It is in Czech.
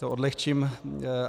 To odlehčím.